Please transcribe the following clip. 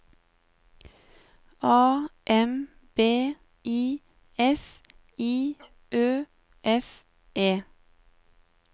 A M B I S I Ø S E